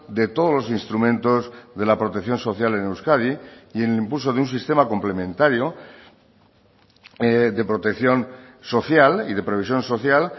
de todos los instrumentos de la protección social en euskadi y en el impulso de un sistema complementario de protección social y de previsión social